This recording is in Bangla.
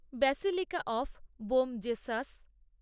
basilica of Bom Jesus